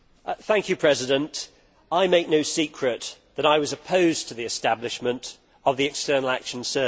Mr President, I make no secret that I was opposed to the establishment of the External Action Service.